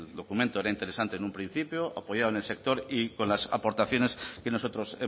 documento el interesante en un principio apoyado en el sector y con las aportaciones que nosotros